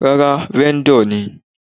Rárá, vendor ni.